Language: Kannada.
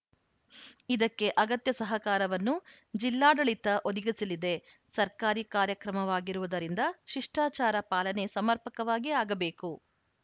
ಇದಕ್ಕೆ ಅಗತ್ಯ ಸಹಕಾರವನ್ನು ಜಿಲ್ಲಾಡಳಿತ ಒದಗಿಸಲಿದೆ ಸರ್ಕಾರಿ ಕಾರ್ಯಕ್ರಮವಾಗಿರುವುದರಿಂದ ಶಿಷ್ಟಾಚಾರ ಪಾಲನೆ ಸಮರ್ಪಕವಾಗಿ ಆಗಬೇಕು